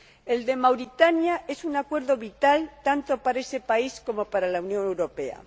El de Mauritania es un acuerdo vital, tanto para ese país como para la Unión Europea.